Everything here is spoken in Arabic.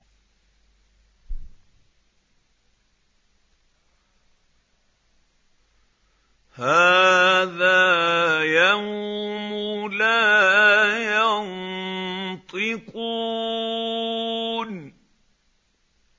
هَٰذَا يَوْمُ لَا يَنطِقُونَ